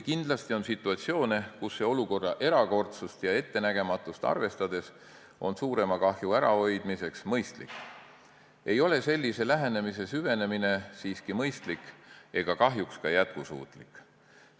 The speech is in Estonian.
Kindlasti on situatsioone, kus see olukorra erakordsust ja ettenägematust arvestades on suurema kahju ärahoidmiseks mõistlik, aga sellise lähenemise süvenemine ei ole siiski mõistlik ega kahjuks ka jätkusuutlik.